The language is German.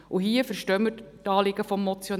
Und hier verstehen wir die Anliegen des Motionärs.